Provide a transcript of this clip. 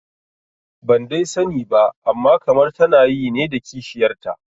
Ban dai sani ba amma kamar tana yi ne da kishiyarta